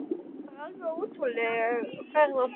Það var alveg ótrúleg ferð á því.